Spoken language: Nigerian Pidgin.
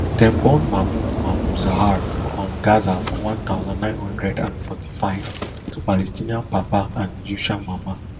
dem born mahmoud mahmoud zahar for um gaza for one thousand, nine hundred and forty-five to palestinian papa and egyptian mama